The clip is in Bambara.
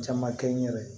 Caman kɛ n yɛrɛ ye